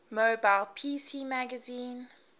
mobile pc magazine